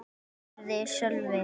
spurði Sölvi.